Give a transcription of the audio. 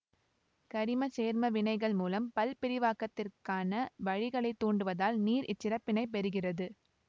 கரிமச்சேர்மவினைகள் மூலம் பல்பிரிவாக்கத்திற்கான வழிகளைத தூண்டுவதால் நீர் இச்சிறப்பினைப் பெறுகிறது